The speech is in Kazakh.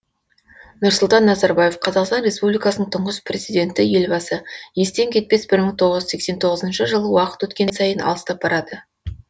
нұрсұлтан назарбаев қазақстан республикасының тұңғыш президенті елбасы естен кетпес бір мың тоғыз жүз сексен тоғызыншы жыл уақыт өткен сайын алыстап барады